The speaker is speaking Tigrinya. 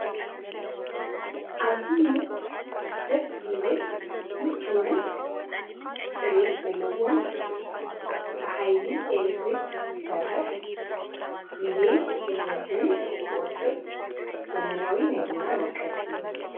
ኣዝዩ ደስ ዝብል ሙችውን ጽሬት ዘለውን ብኃይሊ ኤለትሪክ ዝሠርሕ ጊዜን ጕልበትን ዝወጥብ ዘመናዊ ናይቡና መውቀጥ እዩ ::